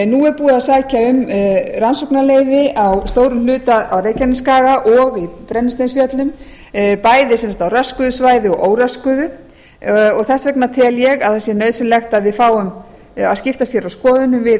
nú er búið að sækja um rannsóknaleyfi á stórum hluta á reykjanesskaga og í brennisteinsfjöllum bæði sem sagt á röskuðu svæði og óröskuðu þess vegna tel ég að það sé nauðsynlegt að við fáum að skiptast hér á skoðunum við